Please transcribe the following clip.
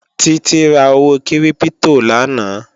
Títí ra owó kírípítò lánàá